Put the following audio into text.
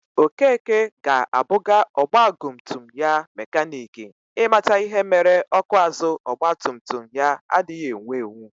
Okeke ga-abuga ogbagumtum ya mekanik i mata ihe mere ọkụ azụ ọgbatumtum ya adighi ewu ,ewu